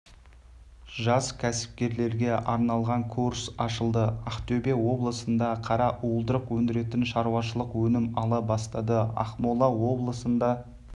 жас кәсіпкерлерге арналған курс ашылды ақтөбе облысында қара уылдырық өндіретін шаруашылық өнім ала бастады ақмола облысында